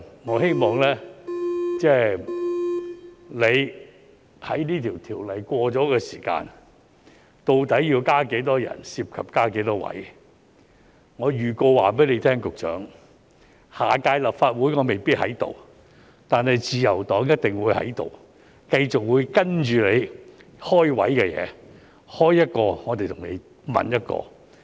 我希望你在這項條例制定後，究竟要加多少人，涉及增設多少職位......我向局長預告，下屆立法會我未必在這裏，但自由黨一定會在這裏，繼續跟進你開設職位的事宜，開一個，我們便問一個。